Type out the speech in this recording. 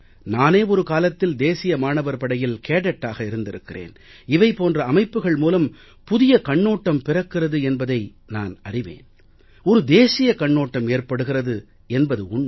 நானே ஒரு காலத்தில் தேசிய மாணவர் படையில் கேடட்டாக இருந்திருக்கிறேன் இவை போன்ற அமைப்புக்கள் மூலம் புதிய கண்ணோட்டம் பிறக்கிறது என்பதை நான் அறிவேன் ஒரு தேசிய கண்ணோட்டம் ஏற்படுகிறது என்பது உண்மை